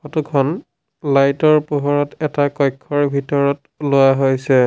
Photo খন light ৰ পোহৰত এটা কক্ষ্যৰ ভিতৰত লোৱা হৈছে।